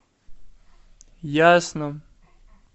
ясном